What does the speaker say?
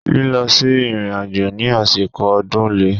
Lílọ sí ìrìnàjò ní àsìkò ọdún le.